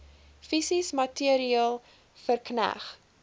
fisies materieel verkneg